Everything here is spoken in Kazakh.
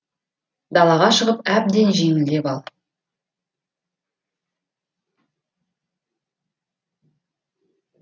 далаға шығып әбден жеңілдеп ал